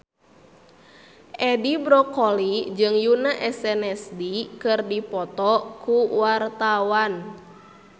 Edi Brokoli jeung Yoona SNSD keur dipoto ku wartawan